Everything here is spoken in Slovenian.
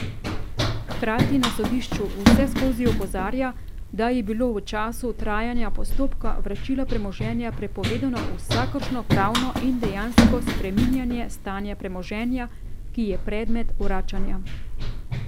Hkrati na sodišču vseskozi opozarja, da je bilo v času trajanja postopka vračila premoženja prepovedano vsakršno pravno in dejansko spreminjanje stanja premoženja, ki je predmet vračanja.